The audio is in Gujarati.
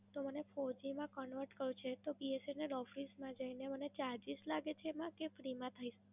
તો મને Four G માં Convert કરવું છે, તો B S N L Office માં જઈને મને Charges લાગે છે એમાં કે Free માં થાય?